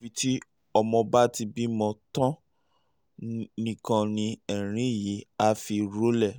àyàfi tí ọmọ bá ti bímọ tán nìkan ni ẹ̀rín yìí á fi rọlẹ̀